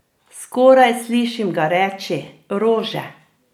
Skoraj slišim ga reči: 'Rože?